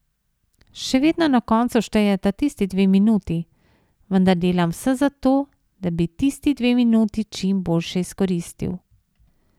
Še vedno na koncu štejeta tisti dve minuti, vendar delam vse za to, da bi tisti dve minuti čim boljše izkoristil.